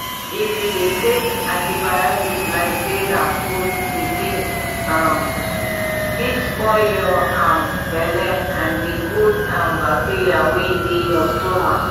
if you dey take antibiotics like say na food di thing um fit spoil your um belle and the good um bacteria wey dey your stomach